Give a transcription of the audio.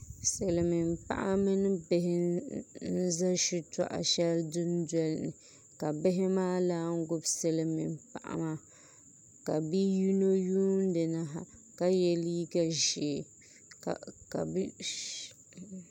Silmiin paɣa mini bihi n ʒɛ shitɔɣu shɛli dundoli ni ka bihi maa naan gbubi silmiin paɣa maa ka bia yino yuundi na ha ka yɛ liiga ʒiɛ ka bia shab